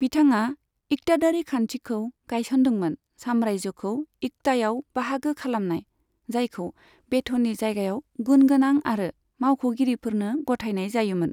बिथाङा इक्तादारी खान्थिखौ गायसनदोंमोन साम्रायजोखौ इक्तायाव बाहागो खालामनाय, जायखौ बेथननि जायगायाव गुन गोनां आरो मावख'गिरिफोरनो गथायनाय जायोमोन।